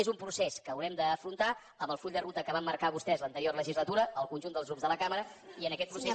és un procés que haurem d’afrontar amb el full de ruta que van marcar vostès l’anterior legislatura el conjunt dels grups de la cambra i en aquest procés